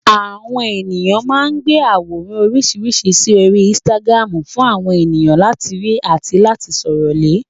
Àwọn ènìyàn máa ń gbé àwòrán oríṣiríṣi sí orí Instagram fún àwọn mìíràn láti rí àti sọ̀rọ̀ lé